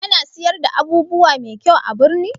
Ana siyar da abubuwa mai kyau a birni?